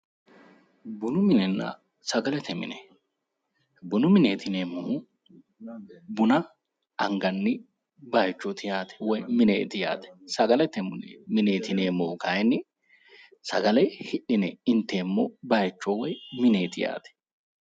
Bunu minenna sagalete mine ,bunu mineti yineemmohu buna anganni bayichoti yaate woyi mineeti yaate ,sagalete mineti yineemmohu kayinni sagale hidhine inteemmo bayicho woyi mineti yaate.